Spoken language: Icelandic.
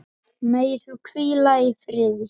Megir þú hvíla í friði.